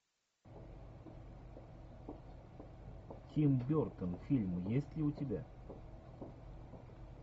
тим бертон фильм есть ли у тебя